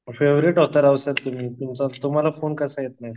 Favourite sir तुम्ही तुमचा तुम्हाला फोन कसा येत नाही?